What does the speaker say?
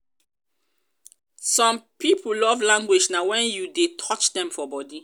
some pipo love language na when you de touch dem for body